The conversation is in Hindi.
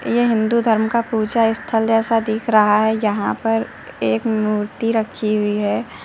ये हिंदू धर्म का पूजा स्थल जैसा दिख रहा है जहां पर एक मूर्ति रखी हुई है।